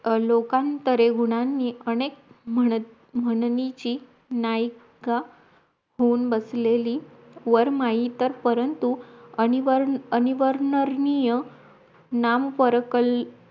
लोकांतरे गुणांनी अनेक म्हण म्हणनीची नायका होऊन बसलेली वरमाई तर परंतु अनिवरण अनिवर्णनीय नाम परकल